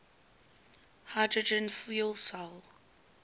hydrogen fuel cell